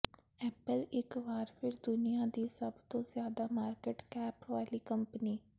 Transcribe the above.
Apple ਇਕ ਵਾਰ ਫਿਰ ਦੁਨੀਆ ਦੀ ਸਭ ਤੋਂ ਜ਼ਿਆਦਾ ਮਾਰਕਿਟ ਕੈਪ ਵਾਲੀ ਕੰਪਨੀ